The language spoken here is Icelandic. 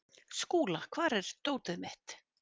Skúla, hvar er dótið mitt?